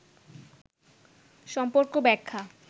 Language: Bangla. সম্পর্ক ব্যাখ্যা